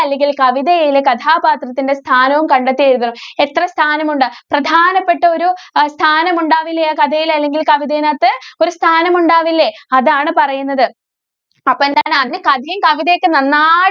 അല്ലെങ്കില്‍ കവിതയിലെ കഥാപാത്രത്തിന്‍റെ സ്ഥാനവും കണ്ടെത്തി എഴുതണം. എത്ര സ്ഥാനമുണ്ട്? പ്രധാനപ്പെട്ട ഒരു അഹ് സ്ഥാനമുണ്ടാവില്ലേ, ആ കഥയില്‍ അല്ലെങ്കില്‍ കവിതേനകത്ത്. ഒരു സ്ഥാനമുണ്ടാവില്ലേ? അതാണ്‌ പറയുന്നത്. അപ്പോ എന്താണ് അതിന് കഥയും, കവിതയൊക്കെ നന്നായി~